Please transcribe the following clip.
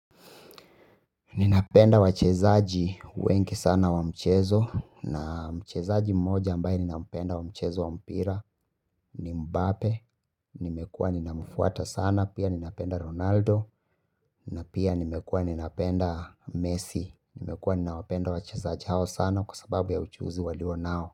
Ninapenda wachezaji wengi sana wa mchezo na mchezaji mmoja ambaye ninampenda wa mchezo wa mpira ni Mbappe. Nimekua ninamfuata sana pia ninapenda Ronaldo na pia nimekua ninapenda Messi. Nimekua ninapenda wachezaji hao sana kwa sababu ya uchuzi walio nao.